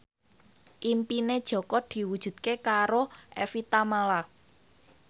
impine Jaka diwujudke karo Evie Tamala